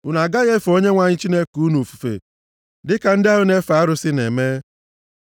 Unu agaghị efe Onyenwe anyị Chineke unu ofufe dịka ndị ahụ na-efe arụsị na-eme.